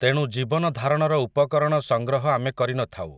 ତେଣୁ ଜୀବନଧାରଣର ଉପକରଣ ସଂଗ୍ରହ ଆମେ କରିନଥାଉ ।